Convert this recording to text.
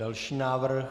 Další návrh.